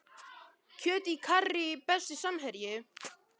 Kjöt í karrí Besti samherji?